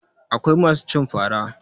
Akwai masu cin fara